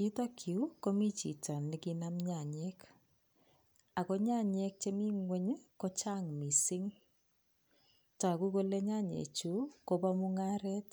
Yutokyu, komi chito nekinam nyanyek ako nyanyek chemi ng'wony, kochang mising toku kole nyanyechu kopo mung'aret